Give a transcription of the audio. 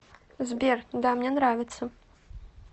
сбер да мне нравится